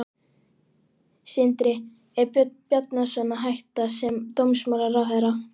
Sindri: Er Björn Bjarnason að hætta sem dómsmálaráðherra?